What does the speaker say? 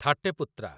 ଥାଟେ ପୁତ୍ରା